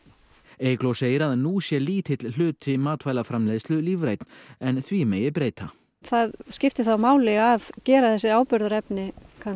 Eygló segir að nú sé lítill hluti matvælaframleiðslu lífrænn en því megi breyta það skiptir þá máli að gera þessu áburðarefni